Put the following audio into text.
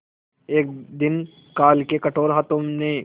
एक दिन काल के कठोर हाथों ने